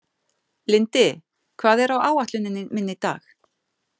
Lindi, hvað er á áætluninni minni í dag?